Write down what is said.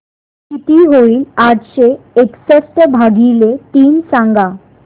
किती होईल आठशे एकसष्ट भागीले तीन सांगा